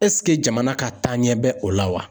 jamana ka taaɲɛ bɛ o la wa?